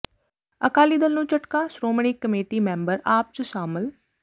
ਅਕਾਲੀ ਦਲ ਨੂੰ ਝਟਕਾ Shiromani committee member AAP ਚ ਸਾਮਲ